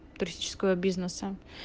туристического бизнеса